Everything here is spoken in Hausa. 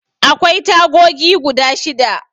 Akwai tagogi guda shida.